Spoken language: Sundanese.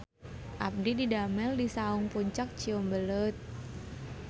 Abdi didamel di Saung Puncak Ciumbuleuit